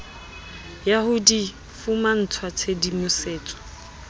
ya ho di fumantshwa tshedimosetso